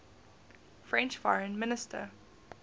french foreign minister